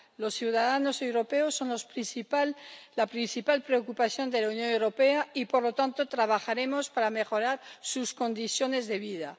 Los ciudadanos europeos son la principal preocupación de la Unión Europea y, por lo tanto, trabajaremos para mejorar sus condiciones de vida.